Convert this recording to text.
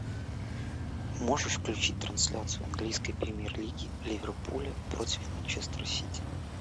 можешь включить трансляцию английской премьер лиги ливерпуля против манчестер сити